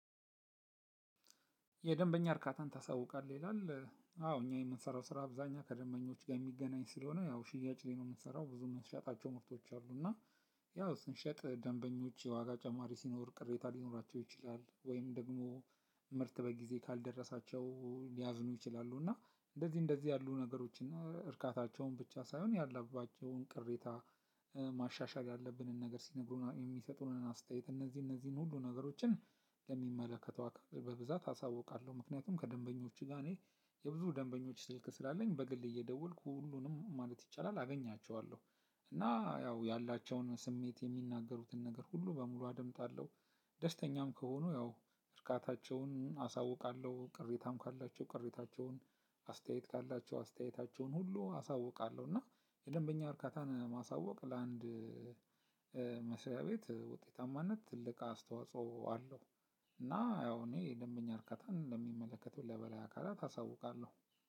የደበኛ እርካታን ታሳውቃለህ ይላል አዎ አኛ የምንሰራው ስራ አብዛሀኛ ከደበኞችጋ ሚገናኝ ስለሆነ ያው ሽያጭ ላይ ነው የምንሰራው ብዙ ምንሸጣቸው ምርቶች አሉእና ያው ስንሸጥ ደንበኞች የዋጋ ጨማሪ ሲኖር ቅሬታ ሊኖራቸው ይችላል ወይም ደግሞ ምርት በጊዜ ካልደረሳቸው ሊያዝኑ ይችላሉ እና እንደዚህ እንደዚህ ያሉ ነገሮች እና እርካታቸውን ብቻ ሳይሆን ያላባቸውን ቅሬታ። ማሻሻል ያለብንን ነገር ሲነግሩር የሚሰጡንን አስተያየት እነዚህ እነዚህ ሁሉ ነገሮችን ለሚመለከተው አካ በብዛት አሳውቃለሁ ምክንያቱም ከደንበኞች ጋ እኔ የብዙ ደንበኞች ስልክ ስላለኝ በግል እየደወልኩ ሁሉንም ማለት ይቻላል አገኛቸዋለሁ። እና ያው ያላቸውን ስሜት የሚናገሩትን ነገር ሁሉ በሙሉ አደምጣለሁ። ደስተኛም ከሆኑ ያው እርካታቸውን አሳውቃለሁ ቅሬታም ካላቸው ቅሬታቸውን አስተያየት ካላቸው አስተያየታቸውን ሁሉ አሳውቃለሁ። እና የደንበኛ እርካታን ማሳወቅ ለአንድ መስሪያ ቤት ውጤታማነት ትልቅ አስተዋጽኦ አለው። እና ያው እኔ ደንበኛ እርካታን ለሚመለከተው ለበላይ አካላት አሳውቃለሁ